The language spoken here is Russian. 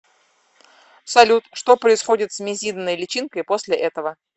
салют что происходит с мизидной личинкой после этого